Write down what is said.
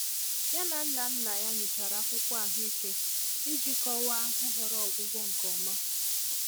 Ya na nna nna ya nyochara akwụkwọ ahụike iji kọwaa nhọrọ ọgwụgwọ nke ọma.